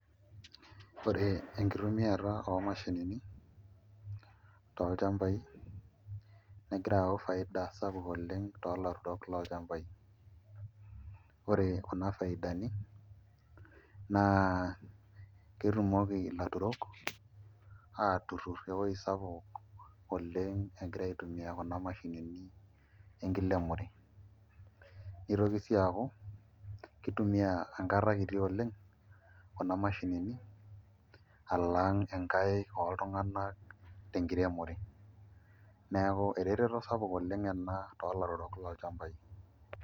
Ore enkitumiata omashinini tolchambai negira ayau faida sapuk oleng' toolaturok lolchmabai ore kuna faidani naa ketumoki ilaturok aatuturr ewuei sapuk oleng' egira aitumia kuna mashinini enkiremore nitoki sii aaku kitumiaa enkata kiti oleng' kuna mashinini alang' nkaik oltung'anak tenkiremore, neeku ereteto sapuk oleng' ena toolaturok lolchambai.